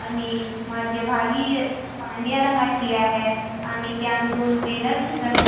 आणि मध्यभागीय पांडऱ्या रंगाची आहे आणि त्या दोन बेनर दिसत --